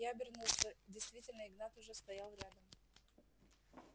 я обернулся действительно игнат уже стоял рядом